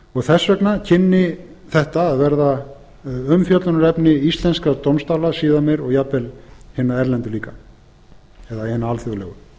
þess vegna kynni þetta að verða umfjöllunarefni íslenskra dómstóla síðar meir og jafnvel hinna erlendu líka eða hinna alþjóðlegu